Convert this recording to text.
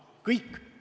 Kõik.